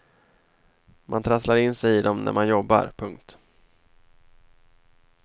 Man trasslar in sig i dem när man jobbar. punkt